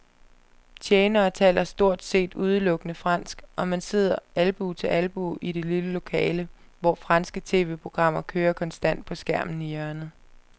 Tjenerne taler stort set udelukkende fransk, og man sidder albue ved albue i det lille lokale, hvor franske tv-programmer kører konstant på skærmen i hjørnet.